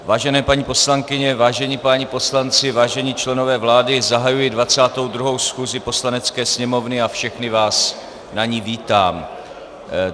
Vážené paní poslankyně, vážení páni poslanci, vážení členové vlády, zahajuji 22. schůzi Poslanecké sněmovny a všechny vás na ní vítám.